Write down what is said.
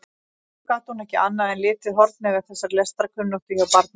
Þó gat hún ekki annað en litið hornauga þessa lestrarkunnáttu hjá barninu.